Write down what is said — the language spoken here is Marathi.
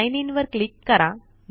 साइन इन वर क्लीक करा